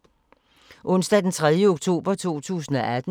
Onsdag d. 3. oktober 2018